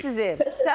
Qucaqlar da sizi.